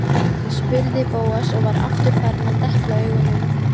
spurði Bóas og var aftur farinn að depla augunum.